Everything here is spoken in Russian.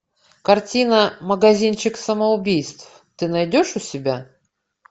картина магазинчик самоубийств ты найдешь у себя